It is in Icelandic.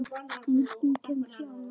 Enginn kemst í annars ham.